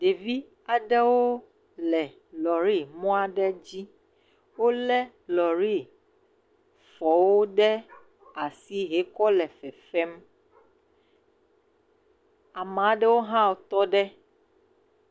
Ɖevi aɖewo le lɔri mɔ aɖe dzi, wole lɔrifɔwo ɖe asi hekɔ le fefem, ame aɖewo hã tɔ ɖe.